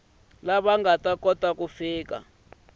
lava nga ta kota ku